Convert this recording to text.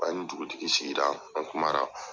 An ni dugutigi sigira ,an kuma na.